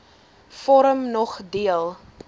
vorm nog deel